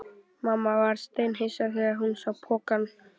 Mamma varð steinhissa þegar hún sá pokann.